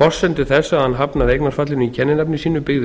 forsendur þess að hann hafnaði eignarfallinu í kenninafni sínu sínu byggði